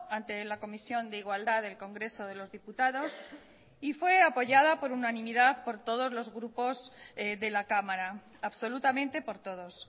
ante la comisión de igualdad del congreso de los diputados y fue apoyada por unanimidad por todos los grupos de la cámara absolutamente por todos